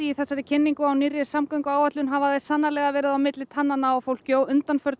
í þessari kynningu á nýrri samgönguáætlun hafa þær sannarlega verið á milli tannanna á fólki undanfarið